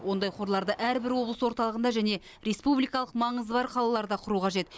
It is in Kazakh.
ондай қорларды әрбір облыс орталығында және республикалық маңызы бар қалаларда құру қажет